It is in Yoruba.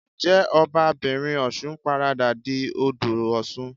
Ǹjẹ́ Ọba'bìnrin Ọ̀ṣun paradà di Odò Ọ̀ṣun?